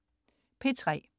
P3: